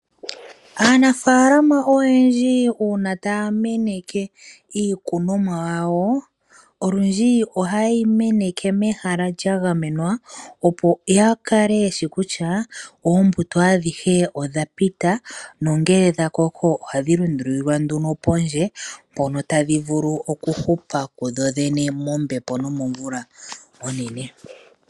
Aanafalama oyendji una taya meneke iikunomwa yawo olundji ohaye yi meneke mehala lya gamenwa opo ya kale yeshi kutya oombuto adhihe odha pita nongele dha koko ohadhi lundulilwa nduno pondje mpono tadhi vulu oku hupa kudhodhene mombepo nomomvula onene.